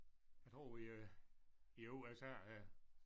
Jeg tror vi er i USA her